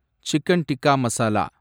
chicken tikka masala